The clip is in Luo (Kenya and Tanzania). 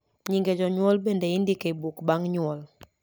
nyinge janyuol bende indiko e buk bang nyuol